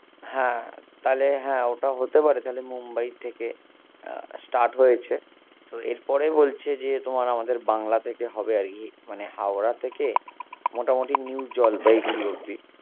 হ্যাঁ তাহলে হ্যাঁ ওটা হতে পারে তাহলে মুম্বাই থেকে আহ start হয়েছে, so এর পরে বলছে যে তোমার আমাদের বাংলা থেকে হবে আরকি মানে হাওড়া থেকে মোটামুটি নিউ জলপাইগুড়ি অব্দি